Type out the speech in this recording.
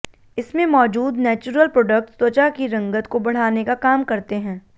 इसमें मौजूद natural products त्वचा की रंगत को बढ़ाने का काम करते हैं